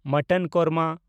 mutton korma